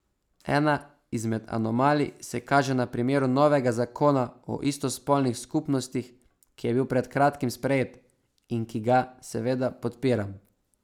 Ena izmed anomalij se kaže na primeru novega zakona o istospolnih skupnostih, ki je bil pred kratkim sprejet, in ki ga seveda podpiram.